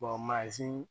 mansin